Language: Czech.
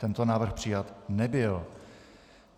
Tento návrh přijat nebyl.